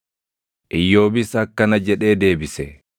Iyyoobis akkana jedhee deebise: